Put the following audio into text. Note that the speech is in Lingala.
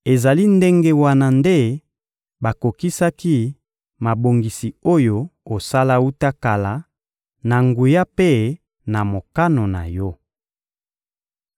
Ezali ndenge wana nde bakokisaki mabongisi oyo osala wuta kala, na nguya mpe na mokano na Yo.